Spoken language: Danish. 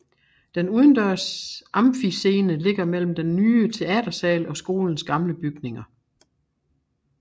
Den udendørs amfiscene ligger mellem den nye teatersal og skolens gamle bygninger